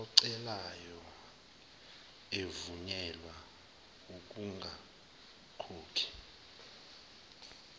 ocelayo evunyelwa ukungakhokhi